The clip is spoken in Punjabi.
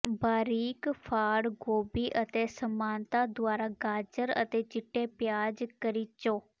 ਬਾਰੀਕ ਫਾੜ ਗੋਭੀ ਅਤੇ ਸਮਾਨਤਾ ਦੁਆਰਾ ਗਾਜਰ ਅਤੇ ਚਿੱਟੇ ਪਿਆਜ਼ ਕਰੀਚੋ